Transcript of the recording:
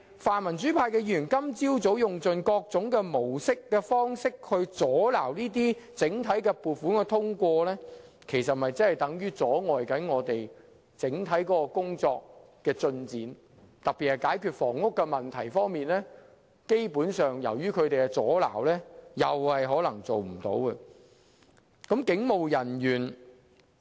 泛民主派的議員今天早上用盡各種方法阻撓撥款的通過，其實等於阻礙整體工作的進展，其中特別是房屋問題，基本上也是由於他們的阻撓，以致很多工作均無法成事。